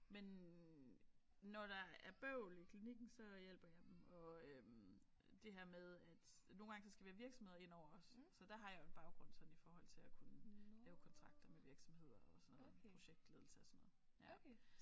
Men når der er bøvl i klinikken så hjælper jeg dem og øh det her med at nogle gange så skal vi have virksomheder ind over også så der har jeg jo en baggrund sådan i forhold til at kunne lave kontrakter med virksomheder og sådan noget projektledelse og sådan noget ja